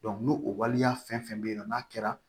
n'o o waleya fɛn fɛn bɛ yen nɔ n'a kɛra